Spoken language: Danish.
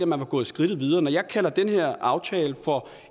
man var gået skridtet videre når jeg kalder den her aftale for